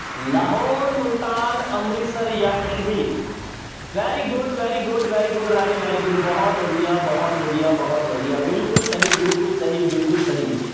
ਲਾਹੌਰ, ਮੁਲਤਾਨ, ਅੰਮ੍ਰਿਤਸਰ ਜਾਂਂ Kashmir very good, very good, very good ਰਾਜੇ very good ਬਹੁਤ ਵਧੀਆ, ਬਹੁਤ ਵਧੀਆ, ਬਹੁਤ ਵਧੀਆ ਬਿਲਕੁਲ ਸਹੀ, ਬਿਲਕੁਲ ਸਹੀ, ਬਿਲਕੁਲ ਸਹੀ।